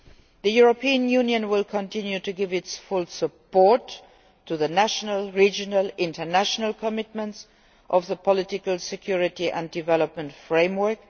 The European Union will continue to give its full support to the national, regional and international commitments of the political, security and development framework.